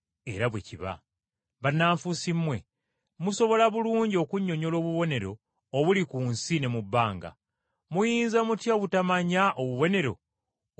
Bannanfuusi mmwe! Musobola bulungi okunnyonnyola obubonero obuli ku nsi ne mu bbanga, muyinza mutya obutamanya obubonero obw’omu kiseera kino?